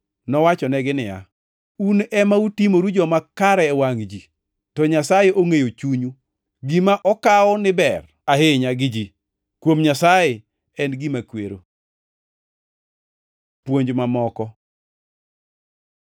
Nowachonegi niya, “Un ema utimoru joma kare e wangʼ ji, to Nyasaye ongʼeyo chunyu. Gima okaw ni ber ahinya gi ji, kuom Nyasaye en gima kwero. Puonj mamoko